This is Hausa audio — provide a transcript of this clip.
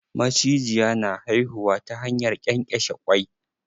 Macijiya na haihuwa ta hanyar ƙenƙeshe kwai.